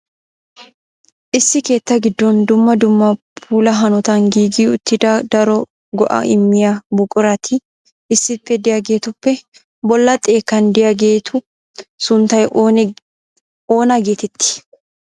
Issi keetta giddon dumma dumma puula hanotan giigi uttida daro go"a immiyaa buqurati issippe de'iyaageetuppe bolla xekkan de'iyaageetu sunttay oona getetti?